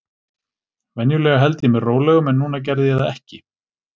Venjulega held ég mér rólegum, en núna gerði ég það ekki.